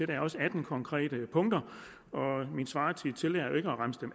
der også er atten konkrete punkter min svartid tillader